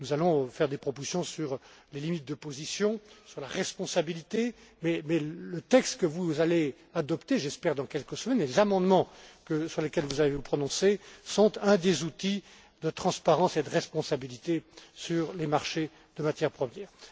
Nous allons faire des propositions sur les limites de position, sur la responsabilité, mais le texte que vous allez adopter j'espère dans quelques semaines et les amendements sur lesquels vous allez vous prononcer constituent un des instruments de transparence et de responsabilité sur les marchés de matières premières.